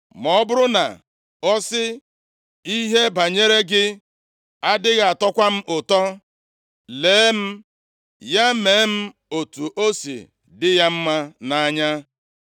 Ma ọ bụrụ na ọ sị, ‘Ihe banyere gị adịghị atọkwa m ụtọ,’ lee m, ya mee m otu o si dị ya mma nʼanya.”